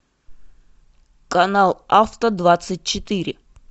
канал авто двадцать четыре